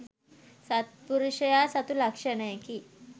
සත්පුරුෂයා සතු ලක්‍ෂණයකි.